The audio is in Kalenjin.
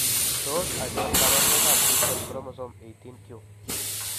Tos achon kabarunaik ab Distal chromosome 18q ?